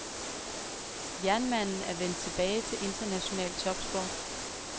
Jernmanden er vendt tilbage til international topsport.